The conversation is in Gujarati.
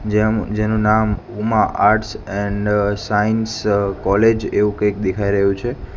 જેમ જેનું નામ Uma arts and science college એવું કંઈક દેખાઈ રહ્યું છે.